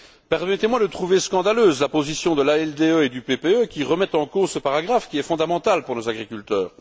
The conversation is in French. Permettez moi de trouver scandaleuse la position de l'ALDE et du PPE qui remettent en cause ce paragraphe, qui est fondamental pour nos agriculteurs.